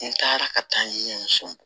N taara ka taa n ye muso bɔ